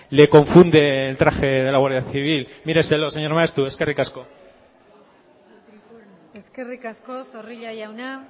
le confunde el traje de la guardia civil míreselo señor maeztu eskerrik asko eskerrik asko zorrilla jauna